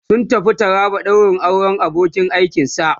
sun tafi taraba daurin auran abokin aikin shi